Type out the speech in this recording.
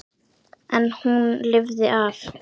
En hún lifði af.